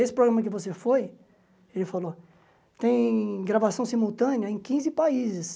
Esse programa que você foi, ele falou, tem gravação simultânea em quinze países.